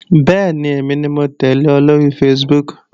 Bẹ́ẹ̀ni, èmi ni mò ń tẹ́lẹ̀ ọ lóri Facebook